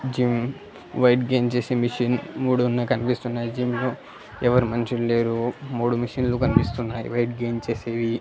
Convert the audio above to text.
Gym weight gain చేసే machine మూడు ఉన్నాయ్ కన్పిస్తున్నాయి జిమ్ లో ఎవరు మంచుల్ లేరు మూడు మిషిన్ లు కన్పిస్తున్నాయి వెయిట్ గైన్ చేసేవి.